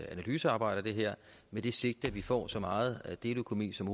analysearbejde af det her med det sigte at vi får så meget deleøkonomi som